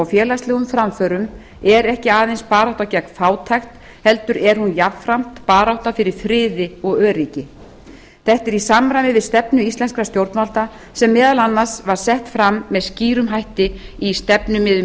félagslegum framförum er ekki aðeins barátta gegn fátækt heldur er hún jafnframt barátta fyrir friði og öryggi þetta er í samræmi við stefnu íslenskra stjórnvalda sem meðal annars var sett fram með skýrum hætti í stefnumiðum